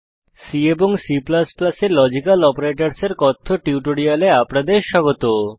C এবং C এ logical অপারেটরসের কথ্য টিউটোরিয়ালে আপনাদের স্বাগত